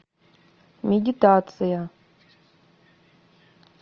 медитация